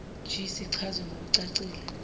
g sichazwe ngokucacile